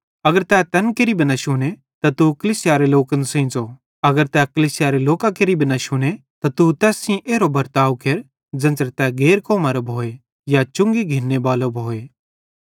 अगर तै तैन केरि भी न शुने त तू कलीसियारे लोकन सेइं ज़ो अगर तै कलीसियारे लोकां केरि भी न शुने त तू तैस सेइं एरो बर्ताव केर ज़ेन्च़रां तै गैर कौमरो भोए या चुंगी घिन्ने बालो भोए